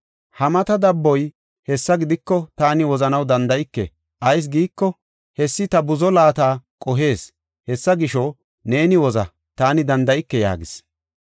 Ha mata dabboy, “Hessa gidiko, taani wozanaw danda7ike; ayis giiko, hessi ta buzo laata qohees. Hessa gisho, neeni woza, taani danda7ike” yaagis.